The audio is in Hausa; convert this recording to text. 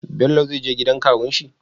Bello ze zeje gidan kawun shi?